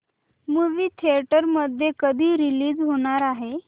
movie theatre मध्ये कधी release होणार आहे